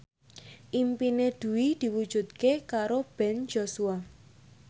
impine Dwi diwujudke karo Ben Joshua